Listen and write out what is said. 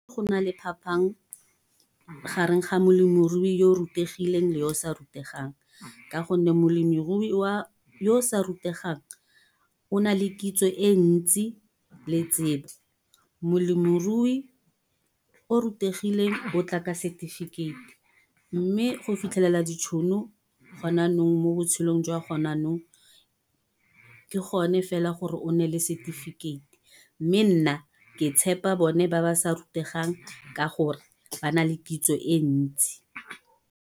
Go na le phaphang gareng ga molemirui yo o rutegileng yo o sa rategang. Ka gonne molemirui yo o sa rategang, o na le kitso e ntsi le tsebo. Molemirui o rutegileng o tla ka setefikeiti, mme go fitlhelela ditšhono go na nong mo botshelong jwa go na nong. Ke gone fela gore o nne le setefikeiti. Mme nna ke tshepa bone ba ba sa rutegang ka gore, ba na le kitso e ntsi.